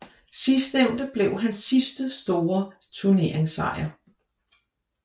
Sidstnævnte blev hans sidste store turneringssejr